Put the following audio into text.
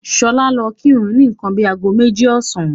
Ṣọlá lọ kírun ni nǹkan bíi ago méjì ọ̀sán.